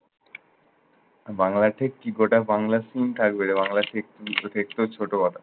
বাংলা ঠিক কি গোটা বাংলা স্কুল থাকবে যে বাংলা ঠিক দেখতেও ছোট